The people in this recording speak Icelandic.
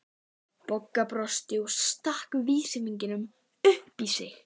Bogga brosti og stakk vísifingri upp í sig.